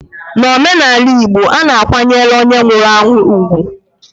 N'omenaala Igbo, a na-akwanyere onye nwụrụ anwụ ugwu.